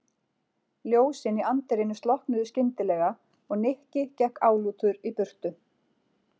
Ljósin í anddyrinu slokknuðu skyndilega og Nikki gekk álútur í burtu.